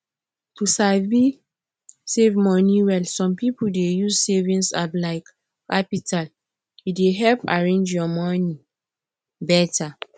to sabi save moni well some people dey use savings app like qapital e dey help arrange your money better